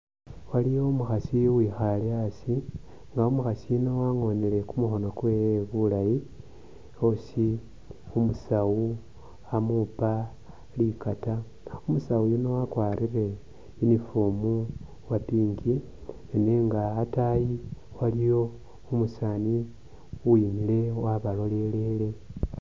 Aliwo umukhasi uwikhale asi nga umukhasi yuuno angonile kumukhono kwewe bulaayi usi umusawu amupa likaata, umusawu yuuno wakwarile uniform uwa pink nenga ataayi waliwo umusani uwimile wabalolelele